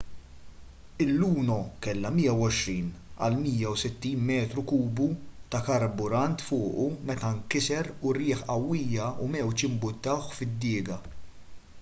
il-luno kellu 120-160 metru kubu ta' karburant fuqu meta nkiser u rjieħ qawwija u mewġ imbuttawh fid-diga